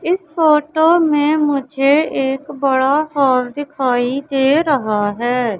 इस फोटो में मुझे एक बड़ा हॉल दिखाई दे रहा है।